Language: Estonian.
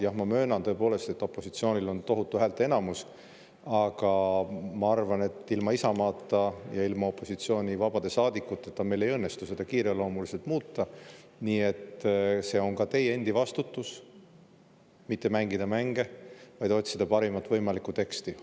Jah, ma möönan tõepoolest, et opositsioonil on tohutu häälteenamus, aga ma arvan, et ilma Isamaata ja ilma opositsiooni vabade saadikuteta meil ei õnnestu seda kiireloomuliselt muuta, nii et see on ka teie endi vastutus mitte mängida mänge, vaid otsida parimat võimalikku teksti.